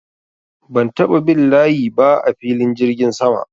Ban taɓa bin layi ba a filin jirgin sama.